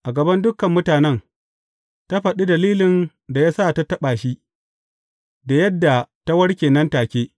A gaban dukan mutanen, ta faɗi dalilin da ya sa ta taɓa shi, da yadda ta warke nan take.